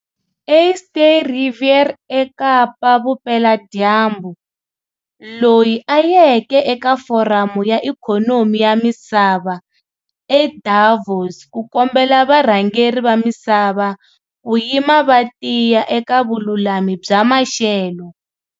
Eerste Rivier eKapa-Vupeladyambu, loyi a yeke eka Foramu ya Ikhonomi ya Misava eDavos ku kombela varhangeri va misava ku yima va tiya eka vululami bya maxelo.